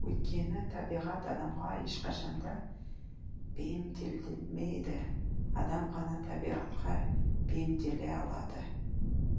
өйткені табиғат адамға ешқашанда бейімделмейді адам ғана табиғатқа бейімделе алады